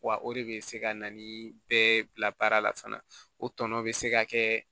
Wa o de bɛ se ka na ni bɛɛ bila baara la fana o tɔnɔ bɛ se ka kɛ